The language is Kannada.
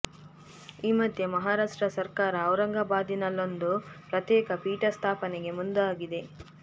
ಈ ಮಧ್ಯೆ ಮಹಾರಾಷ್ಟ್ರ ಸರಕಾರ ಔರಂಗಾಬಾದಿನಲ್ಲೊಂದು ಪ್ರತ್ಯೇಕ ಪೀಠ ಸ್ಥಾಪನೆಗೆ ಮುಂದಾಗಿದೆ